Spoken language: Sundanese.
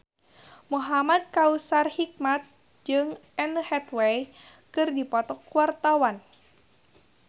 Muhamad Kautsar Hikmat jeung Anne Hathaway keur dipoto ku wartawan